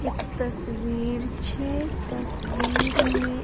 एक तस्वीर छै तस्वीर में --